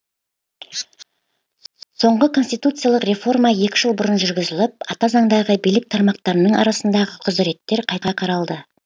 соңғы конституциялық реформа екі жыл бұрын жүргізіліп ата заңдағы билік тармақтарының арасындағы құзыреттер қайта қаралды